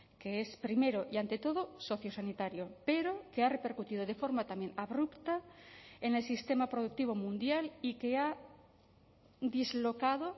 que es primero y ante todo sociosanitario pero que ha repercutido de forma también abrupta en el sistema productivo mundial y que ha dislocado